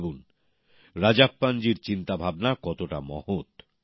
ভাবুন রাজাপ্পানজির চিন্তাভাবনা কতটা মহৎ